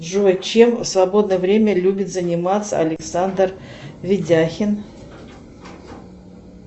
джой чем в свободное время любит заниматься александр видяхин